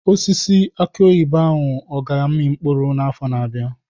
Osisi aki oyibo ahụ ọ ga-amị mkpụrụ n'afọ na-abịa?